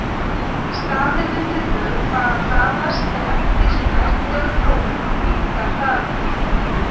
Staðir við miðbaug fara hraðast en eftir því sem nær dregur pólunum minnkar hraðinn.